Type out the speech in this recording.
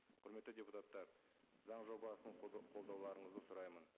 құрметті депутаттар заң жобасын қолдауларыңызды сұраймын